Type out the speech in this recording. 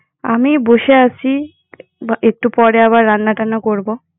আমি বসে আছি। বা একটু পরে আবার রান্নাটান্না করবো।